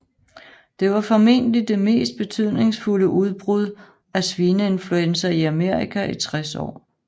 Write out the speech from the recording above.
Det var formentlig det mest betydningsfulde udbrud af svineinfluenza i Amerika i 60 år